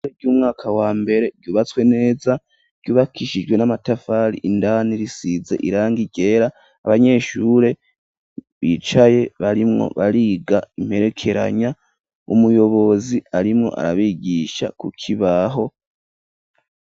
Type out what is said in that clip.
Ishure ry'umwaka wa mbere ryubatswe neza, ryubakishijwe n'amatafari, indani risize irangi ryera ,abanyeshure bicaye barimwo bariga imperekeranya, umuyobozi arimwo arabigisha kukibaho.